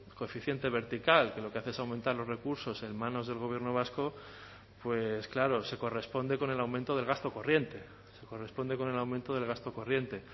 coeficiente vertical que lo que hace es aumentar los recursos en manos del gobierno vasco claro se corresponde con el aumento del gasto corriente corresponde con el aumento del gasto corriente